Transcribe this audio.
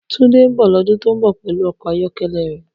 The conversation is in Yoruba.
Tunde n bọ lodun to n bọ pẹlu ọkọ ayọkẹlẹ rẹ.